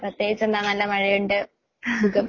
പ്രത്യേകിച്ചെന്താ നല്ല മഴയുണ്ട്. സുഖം.